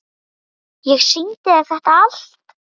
Ég sýndi þér þetta allt.